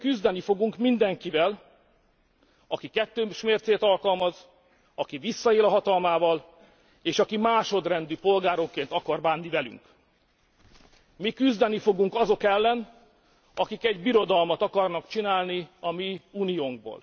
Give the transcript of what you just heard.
Ezért mi küzdeni fogunk mindenkivel, aki kettős mércét alkalmaz, aki visszaél a hatalmával, és aki másodrendű polgárokként akar bánni velünk. Mi küzdeni fogunk azok ellen, akik egy birodalmat akarnak csinálni a mi Uniónkból!